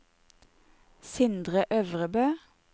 Sindre Øvrebø